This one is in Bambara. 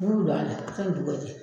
N m'ulu don a la a ka ɲi gundo yɛrɛ